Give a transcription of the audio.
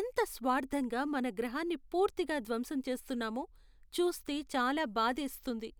ఎంత స్వార్ధంగా మన గ్రహాన్ని పూర్తిగా ధ్వంసం చేస్తున్నామో చూస్తే చాలా భాధేస్తుంది.